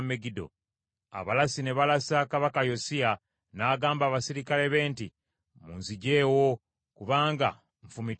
Abalasi ne balasa kabaka Yosiya n’agamba abaserikale be nti, “Munziggyeewo kubanga nfumitiddwa nnyo.”